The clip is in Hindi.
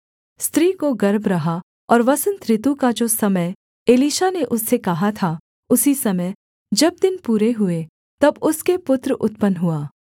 स्त्री को गर्भ रहा और वसन्त ऋतु का जो समय एलीशा ने उससे कहा था उसी समय जब दिन पूरे हुए तब उसके पुत्र उत्पन्न हुआ